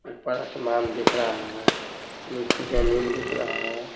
ऊपर आसमान दिख रहा है नीचे जमीन दिख रहा है।